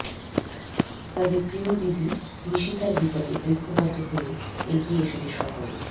তাদের প্রিয় দিদি নিশিতার বিপদে ঐকবদ্ধ হয়ে এগিয়ে এসেছে সকলে